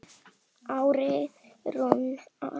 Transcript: Árni Rúnar.